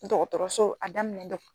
dɔgɔtɔrɔso a daminɛn dɔ